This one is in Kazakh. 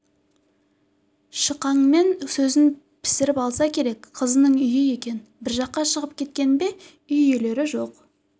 шықаңмен сөзін пісіріп алса керек қызының үйі екен бір жаққа шығып кеткен бе үй иелері жоқ